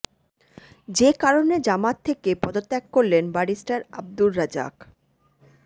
যে কারণে জামায়াত থেকে পদত্যাগ করলেন ব্যারিস্টার আব্দুর রাজ্জাক